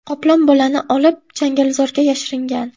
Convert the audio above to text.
Qoplon bolani olib, changalzorga yashiringan.